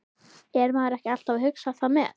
Er maður ekki alltaf að hugsa það með?